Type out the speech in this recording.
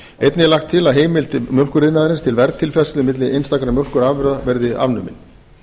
einnig er lagt til að heimild mjólkuriðnaðarins til verðtilfærslu milli einstaka mjólkurafurða verði afnumin